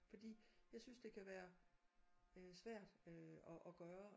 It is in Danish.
Fordi jeg synes det kan være øh svært øh at at gøre